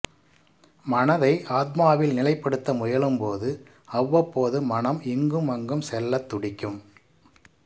மனதை ஆத்மாவில் நிலைப்படுத்த முயலும் போது அவ்வப்போது மனம் இங்குமங்கும் செல்லத் துடிக்கும்